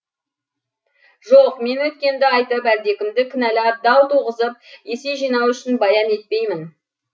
жоқ мен өткенді айтып әлдекімді кіналап дау туғызып есе жинау үшін баян етпеймін